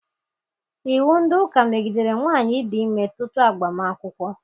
Iwu ndị ụka megidere nwaanyị ịdị ime tutu agbam akwụkwọ.